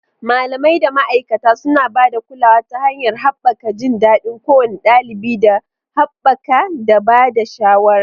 Malamai da ma'aikata suna ba da kulawa ta hanyar haɓaka jin daɗin kowane ɗalibi da haɓaka da ba da shawara.